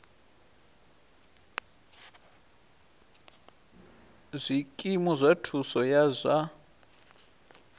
zwikimu zwa thuso ya zwa